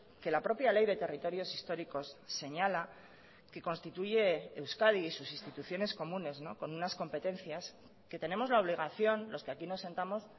que la propia ley de territorios históricos señala que constituye euskadi y sus instituciones comunes con unas competencias que tenemos la obligación los que aquí nos sentamos